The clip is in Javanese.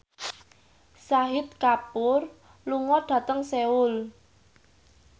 Shahid Kapoor lunga dhateng Seoul